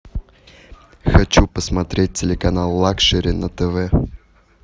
хочу посмотреть телеканал лакшери на тв